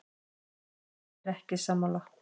Ég er ekki sammála.